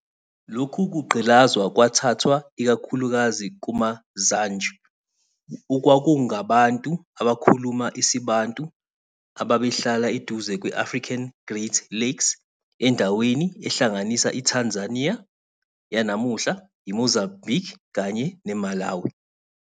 Lokhu kugqilazwa kwathathwa ikakhulukazi kumaZanj, okwakungabantu abakhuluma isiBantu ababehlala eduze kwe-African Great Lakes, endaweni ehlanganisa iTanzania yanamuhla, iMozambique kanye neMalawi.